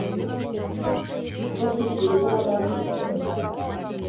қолжетімді бола ма болмай ма